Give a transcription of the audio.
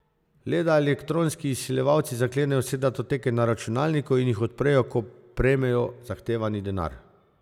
Le da elektronski izsiljevalci zaklenejo vse datoteke na računalniku in jih odprejo, ko prejmejo zahtevani denar.